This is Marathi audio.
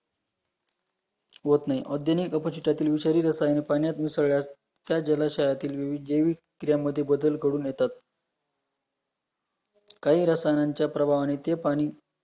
होत नाही ओउद्योनिक अ पाशितातील पाण्यात मिसळल्यास त्या जलाशयातील देवी त्या मध्ये बदल करून येतात, काही रसायनांच्या प्रभावाने ते पाणी